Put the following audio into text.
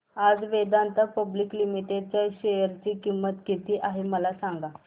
आज Vedanta public limited च्या share ची किंमत किती आहे मला सांगा